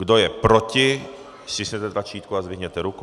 Kdo je proti, stiskněte tlačítko a zdvihněte ruku.